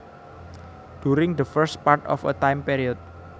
During the first part of a time period